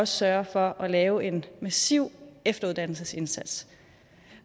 sørger for at lave en massiv efteruddannelsesindsats